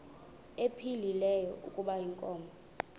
ephilile kuba inkomo